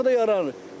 Propka da yaranır.